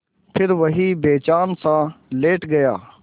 फिर वहीं बेजानसा लेट गया